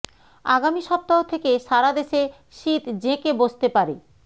আগামী সপ্তাহ থেকে সারা দেশে শীত জেঁকে বসতে পারে